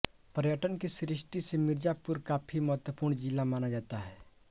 पर्यटन की दृष्टि से मिर्जापुर काफी महत्वपूर्ण जिला माना जाता है